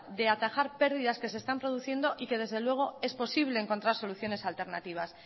de atajar pérdidas que se están produciendo y que desde luego es posible encontrar soluciones alternativas